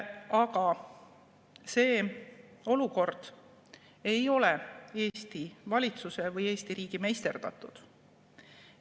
Ja see olukord ei ole Eesti valitsuse või Eesti riigi meisterdatud.